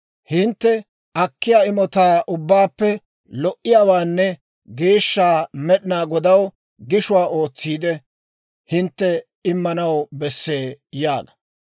Hintte akkiyaa imotaa ubbaappe, lo"iyaawaanne geeshsha Med'inaa Godaw gishuwaa ootsiide, hintte immanaw bessee› yaaga.